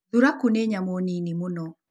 Thuraku nĩ nyamũ nini mũno.